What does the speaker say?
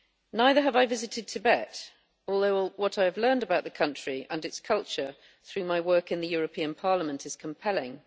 Neither have I visited Tibet, although what I have learned about the country and its culture through my work in the European Parliament is compelling.